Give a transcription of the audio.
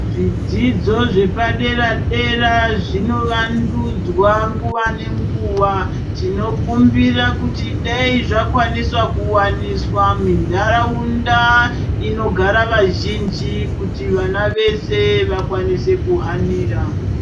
Zvidzidzo zvepadera dera zvino wandudzwa tinokumbira kuti dai zvakawandisa kuwanisa mundaraunda inogara vazhinji kuti vana vese vakwanise kuhanira.